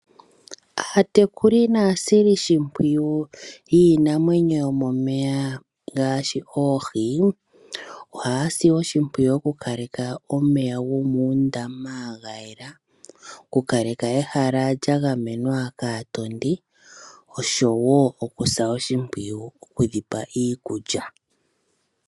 Aatekuli naasilishimpwiyu yiinamwenyo yomomeya ngaashi oohi, ohaasi oshimpwiyu okukalekaka omeya gomuundama ga yela, okukaleka ehala lya gamenwa kaatondi osho wo okusa oshimpwiyu okudhipa iikulya.